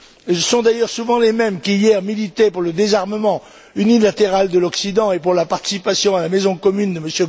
Ce sont d'ailleurs souvent les mêmes qui, hier, militaient pour le désarmement unilatéral de l'Occident et pour la participation à la maison commune de M.